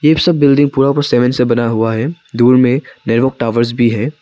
इन सब बिल्डिंग पूरा ऊपर सेवन से बना हुआ है दूर में टावर्स भी है।